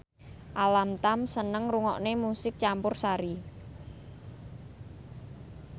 Alam Tam seneng ngrungokne musik campursari